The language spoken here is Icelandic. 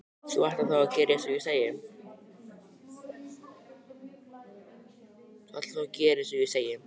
Þú ætlar þá að gera einsog ég sagði?